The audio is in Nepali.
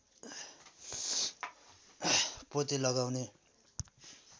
पोते लगाउने